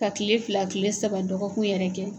Ka kile fila kile saba dɔgɔkun yɛrɛ kɛ.